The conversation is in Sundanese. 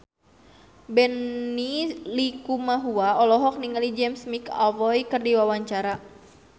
Benny Likumahua olohok ningali James McAvoy keur diwawancara